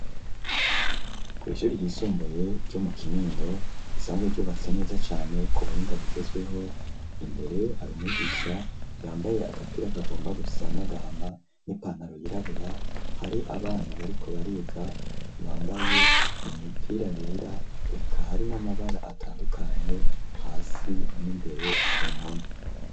kw'ishure ry'isumbuye ryo mu kinindo risanzwe ryubatse neza cane kubuho ingabo gezwiho imbere hari umigisha yambaye agapira kagomba gusa nagama n'ipantaro yirabura hari abana bariko bariga bambaye imipira yera eka ari n'amabara atandukanye hasi n'imbere kumpome.